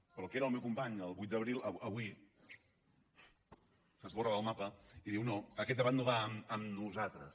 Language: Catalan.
però el que era el meu company el vuit d’abril avui s’esborra del mapa i diu no aquest debat no va amb nosaltres